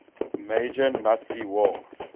major nazi war